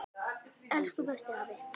Elsku besti afi.